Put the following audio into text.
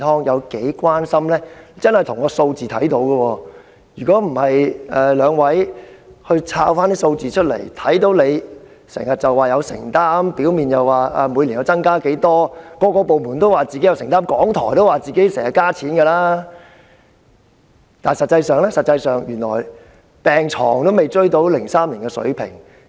若非兩位議員找出有關數字，大家也不知道雖然政府表面上表示自己有承擔，每年增加撥款，各個部門皆表示自己有承擔，連香港電台也說自己增加撥款，但實際情況卻是病床數目未能追及2003年的水平。